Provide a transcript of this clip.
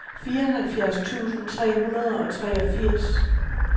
fireoghalvfjerds tusind tre hundrede og treogfirs